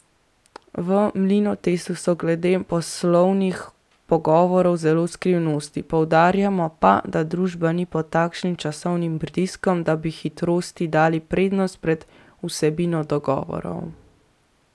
V Mlinotestu so glede poslovnih pogovorov zelo skrivnostni, poudarjamo pa, da družba ni pod takšnim časovnim pritiskom, da bi hitrosti dali prednost pred vsebino dogovorov.